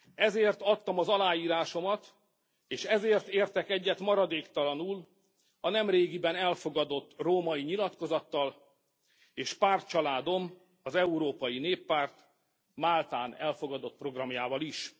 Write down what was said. Ezért adtam az aláírásomat, és ezért értek egyet maradéktalanul a nemrégiben elfogadott római nyilatkozattal és pártcsaládom, az Európai Néppárt Máltán elfogadott programjával is.